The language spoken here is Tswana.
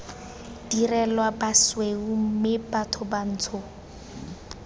direla basweu mme batho bantsho